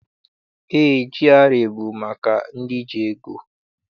Eé, GRA bụ maka ndị ji ego.